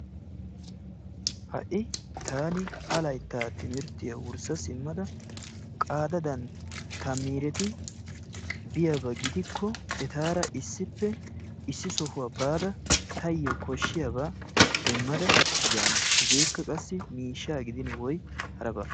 Ha'i taani ha layttaa timirttiyaa wurssa simmada qadaadan ta miireti biyaaba gidikko etaara issippe issi sohuwaa baada tayoo koshshiyaaba demmada yaana. Hegeekka qassi miishshaa gidin woy haraba.